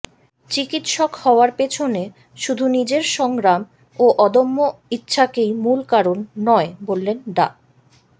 চিকিৎসক হওয়ার পেছনে শুধু নিজের সংগ্রাম ও অদম্য ইচ্ছাকেই মূল কারণ নয় বললেন ডা